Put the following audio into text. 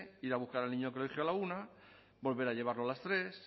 ir a buscar al niño al colegio a la una volver a llevarlo a las tres